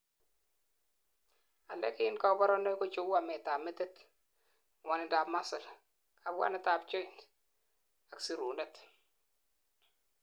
alak en kaborunoik kocheu ametab metit, ngwonindap muscle, kabwanetab joint it ak sirunet